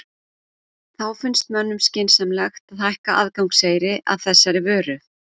Þá finnst mönnum skynsamlegt að hækka aðgangseyri að þessari vöru?